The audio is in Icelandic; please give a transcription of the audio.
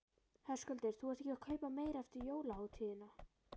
Höskuldur: Þú ert ekki að kaupa meira eftir jólahátíðirnar?